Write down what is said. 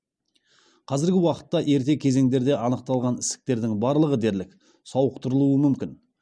қазіргі уақытта ерте кезеңдерде анықталған ісіктердің барлығы дерлік сауықтырылуы мүмкін